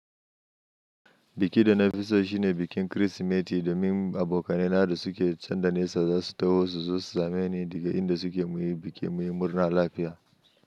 Biki da na fi so shine bikin Kirsimeti domin abokai na da suke can da nesa za su taho su zo su same ni daga inda suke muyi biki muyi murna lafiya.